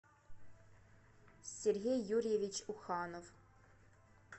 сергей юрьевич уханов